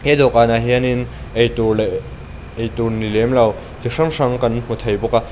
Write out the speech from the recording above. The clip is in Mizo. he dawhkânah hianin eitûr leh eitur ni lem lo chi hrang hrang kan hmu thei bawk a.